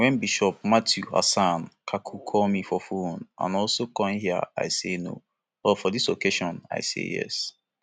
wen bishop mathew hassan kukah call me for phone and also come hia i say no but for dis occassion i say yes